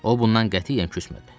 O bundan qətiyyən küsmədi.